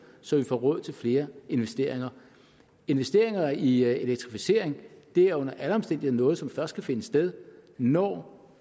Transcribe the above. så vi får råd til flere investeringer investeringer i elektrificering er under alle omstændigheder noget som først kan finde sted når